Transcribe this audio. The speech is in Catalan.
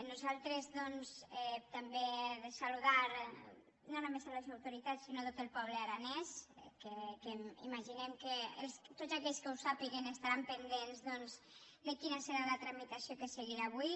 nosaltres doncs també saludar no només les autoritats sinó tot el poble aranès que imaginem que tots aquells que ho sàpiguen estaran pendents doncs de quina serà la tramitació que es seguirà avui